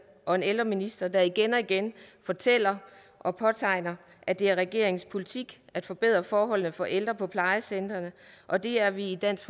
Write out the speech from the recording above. og en ældreminister der igen og igen fortæller og påpeger at det er regeringens politik at forbedre forholdene for ældre på plejecentrene og det er vi i dansk